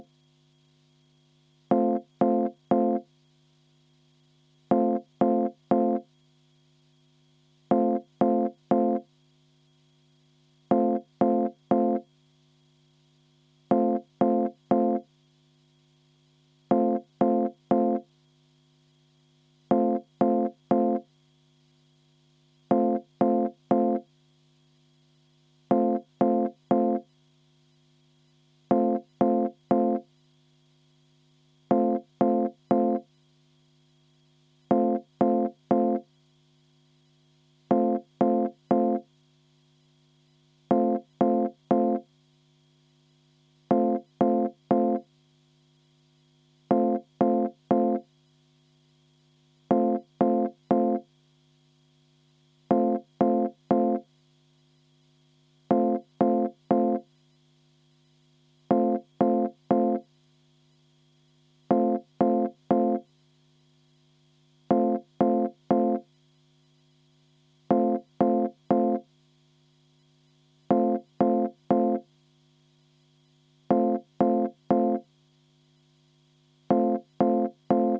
V a h e a e g